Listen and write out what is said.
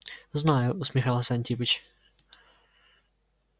знаю усмехался антипыч